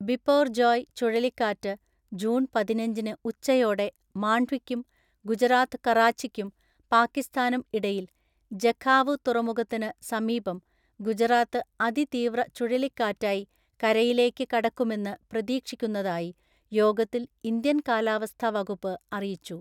ബിപോർജോയ് ചുഴലിക്കാറ്റ് ജൂൺ പതിനഞ്ചിന് ഉച്ചയോടെ മാണ്ഡ്വിക്കും ഗുജറാത്ത് കറാച്ചിക്കും പാകിസ്ഥാനും ഇടയിൽ ജഖാവു തുറമുഖത്തിന് സമീപം ഗുജറാത്ത് അതിതീവ്ര ചുഴലിക്കാറ്റായി കരയിലേയ്ക്ക് കടക്കുമെന്ന് പ്രതീക്ഷിക്കുന്നതായി യോഗത്തില്‍ ഇന്ത്യന്‍ കാലാവസ്ഥാ വകുപ്പ് അറിയിച്ചു.